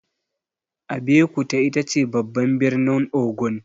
Abeokuta itace babban birnin Ogun.